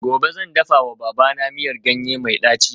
Gobe ​​zan dafawa babana miyar ganye mai daci